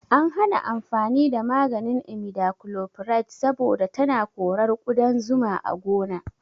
An hana amfani da maganin imidachlopride saboda tana korar ƙudan zuma a gona